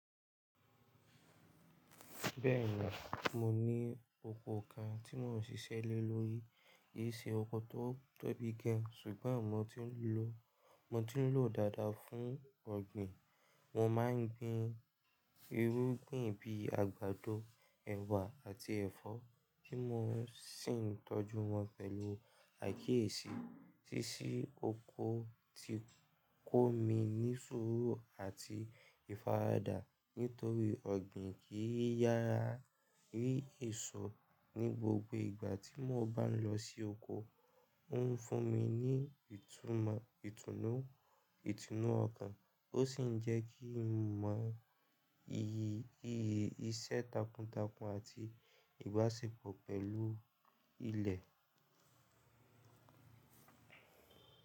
Bẹ́ẹ̀ni, mo ní oko kan tí mò ń ṣiṣẹ́ lé lórí. Yí ṣe oko tó tóbi gan, ṣùgbọ́n mo ti ń lò dáadáa fún ọ̀gbìn. Mo máa ń gbin irúgbìn bíi àgbàdo, ẹ̀wà àti ẹ̀fọ́ tí mò ń ṣìn tọ́jú wọn pẹ̀lú àìkíyèsí. Sísí oko ti kó mi ní sùúrù àti ìfaradà nítorí ọ̀gbìn kì í yára rí ìsọ̀. Ní gbogbo ìgbà tí mo bá ń lọ sí oko, ó ń fún mi ní ìtùnú ọkàn ó sì ń jẹ́ kí mo mọ iyì iṣẹ́ takuntakun àti ìbáṣepọ̀ pẹ̀lú ilẹ̀.